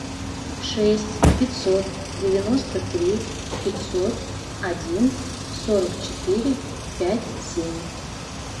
шесть пятьсот девяносто три пятьсот один сорок четыре пять семь